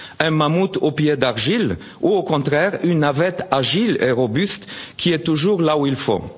crise? Un mammouth aux pieds d'argile ou au contraire une navette agile et robuste qui est toujours là